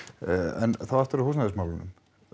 en þá aftur að húsnæðismálunum